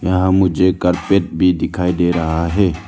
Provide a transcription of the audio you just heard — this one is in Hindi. यहां मुझे कारपेट भी दिखाई दे रहा है।